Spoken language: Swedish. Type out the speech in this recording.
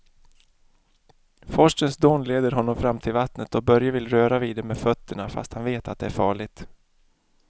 Forsens dån leder honom fram till vattnet och Börje vill röra vid det med fötterna, fast han vet att det är farligt.